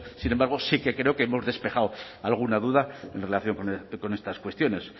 sin embargo sí que creo que hemos despejado alguna duda en relación con estas cuestiones